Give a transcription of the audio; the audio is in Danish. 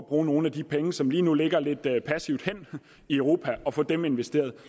bruge nogle af de penge som lige nu ligger lidt passivt hen i europa og få dem investeret